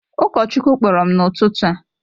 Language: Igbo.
Ụkọchukwu kpọrọ m n’ụtụtụ a